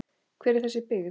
Hver er þessi byggð?